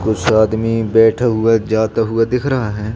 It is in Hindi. कुछ आदमी बैठे हुए जाते हुए दिख रहा है।